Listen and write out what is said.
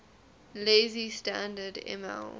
lazy standard ml